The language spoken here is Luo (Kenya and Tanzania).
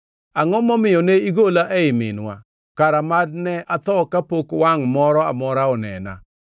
“Angʼo momiyo ne igola ei minwa? Kara mad ne atho kapok wangʼ moro amora onena.